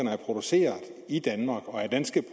er produceret i danmark og er danske